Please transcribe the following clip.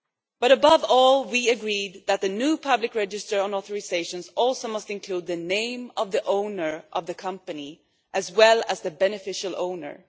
But, above all, we agreed that the new public register on authorisations must also include the name of the owner of the company, as well as the beneficial owner.